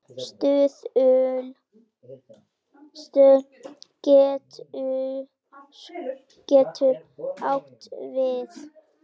Stuðull getur átt við